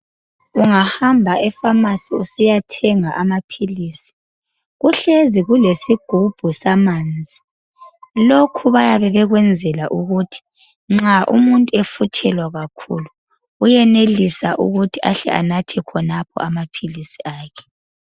Ungahamba efamasi usiyathenga amaphilisi kuhlezi kulesigubhu samanzi lokhu bayabe bekwenzela ukuthi nxa umuntu efuthelwa kakhulu uyenelisa ukuthi ahle anathe khonapho amaphilisi akhe.